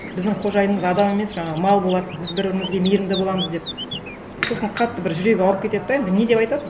біздің қожайынымыз адам емес жаңағы мал болады біз бір бірімізге мейірімді боламыз деп сосын қатты бір жүрегі ауырып кетеді де енді не деп айтады